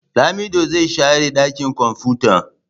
Lamido zai share dakin kwamfuta.